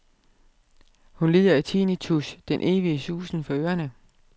Hun lider af tinnitus, den evige susen for ørene.